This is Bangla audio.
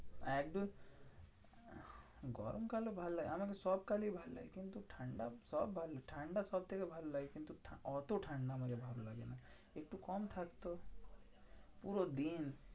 একদম গরমকাল তো ভালো লাগে আমাকে সব কালই ভালো লাগে। কিন্তু ঠান্ডা, সব ভালো ঠান্ডা সবথেকে ভালো লাগে কিন্তু এত ঠান্ডা আমাকে ভালো লাগে না। একটু কম থাকতো, পুরো দিন